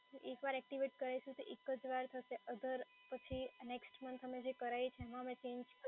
એક વાર એક્ટિવેટ કરાઈશું તો એક જ વાર થશે other પછી next month અમે જે કરાઈ છીએ એમાં અમે ચેન્જ